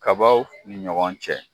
Kabaw ni ɲɔgɔn cɛ